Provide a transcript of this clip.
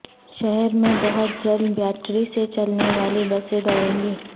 شہر میں بہت جلد بیاٹری سے چلنے والی بسیں دوڑیں گی